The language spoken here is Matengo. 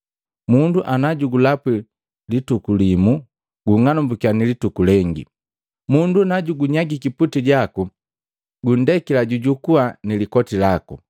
Mundu ana jugulapwi lituku limu, gung'anumbukiya ni lituku lengi, mundu najugunyagiki puti jaku, gundekila jujukua ni likoti laku.